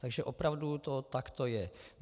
Takže opravdu to takto je.